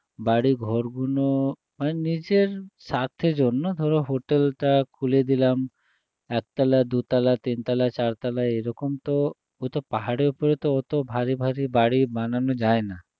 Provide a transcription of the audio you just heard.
বাড়িঘর গুলো মানে নিজের স্বার্থের জন্য ধরো hotel টা খুলে দিলাম একতলা দুতলা তিনতলা চারতলা এরকম তো পাহাড়ের ওপরে তো ওত ভারী ভারী বানানো যায় না